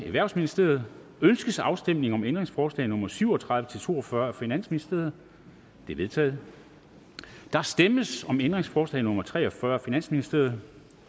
erhvervsministeriet ønskes afstemning om ændringsforslag nummer syv og tredive til to og fyrre af finansministeren de er vedtaget der stemmes om ændringsforslag nummer tre og fyrre af finansministeren